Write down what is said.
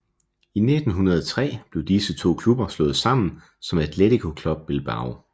I 1903 blev disse to klubber slået sammen som Athletic Club Bilbao